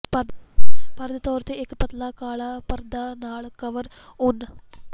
ਪਰ ਦੇ ਤੌਰ ਤੇ ਇੱਕ ਪਤਲਾ ਕਾਲਾ ਪਰਦਾ ਨਾਲ ਕਵਰ ਉੱਨ